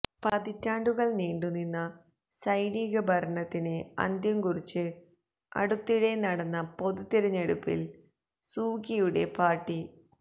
പതിറ്റാണ്ടുകള് നീണ്ടുനിന്ന സൈനിക ഭരണത്തിന് അന്ത്യം കുറിച്ച് അടുത്തിടെ നടന്ന പൊതുതിരഞ്ഞെടുപ്പില് സൂകിയുടെ പാര്ട്ടി